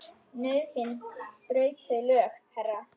Nauðsyn braut þau lög, herra.